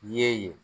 Ye yen